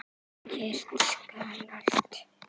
Kyrrt skal allt.